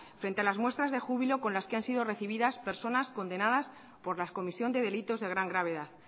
frente a las muestras de júbilo con las que han sido recibidas personas condenadas por la comisión de delitos de gran gravedad